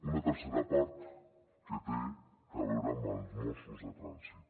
una tercera part que té a veure amb els mossos de trànsit